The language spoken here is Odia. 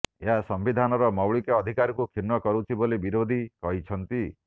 ଏହା ସମ୍ୱିଧାନର ମୌଳିକ ଅଧିକାରକୁ କ୍ଷୁଣ୍ଣ କରୁଛି ବୋଲି ବିରୋଧୀ କହିଛନ୍ତି